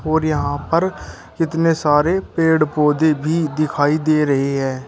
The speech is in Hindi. और यहा पर इतने सारे पेड पौधे भी दिखाई दे रहे है।